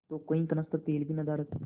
तो कई कनस्तर तेल भी नदारत